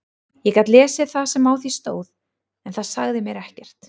Ég gat lesið það sem á því stóð en það sagði mér ekkert.